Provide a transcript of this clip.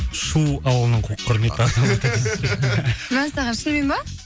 шу ауылының құрметті азаматымыз мәссаған шынымен ба